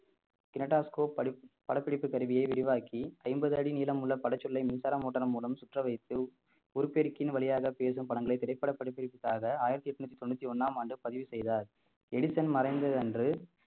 kaleidoscope படிப்~ படப்பிடிப்பு கருவியை விரிவாக்கி ஐம்பது அடி நீளமுள்ள படச்சொல்லை மின்சார motor மூலம் சுற்ற வைத்து ஒலி பெருக்கியின் வழியாக பேசும் படங்களை திரைப்பட படிப்பிற்காக ஆயிரத்தி எட்நூத்தி தொண்ணூத்தி ஒண்ணாம் ஆண்டு பதிவு செய்தார் எடிசன் மறைந்ததன்று